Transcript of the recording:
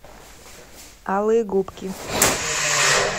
алые губки